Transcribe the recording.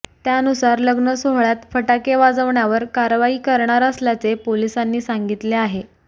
त्यानुसारच लग्नसोहळ्यात फटाके वाजवण्यावर कारवाई करणार असल्याचे पोलिसांनी सांगितले आहे